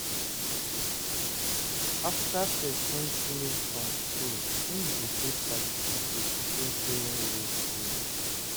After person finish from school im go get certificate to show sey im go school